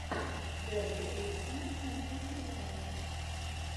дерби эвертона с манчестер юнайтед